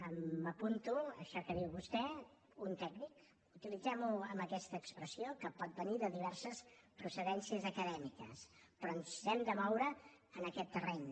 m’apunto això que diu vostè un tècnic utilitzem ho amb aquesta expressió que pot venir de diverses procedències acadèmiques però ens hem de moure en aquest terreny